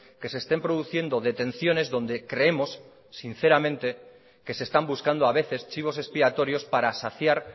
que se estén produciendo detenciones donde creemos sinceramente que se están buscando a veces chivos expiatorios para saciar